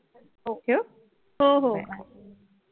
ठेवू bye